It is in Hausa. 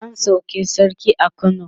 an sauke sarki a kano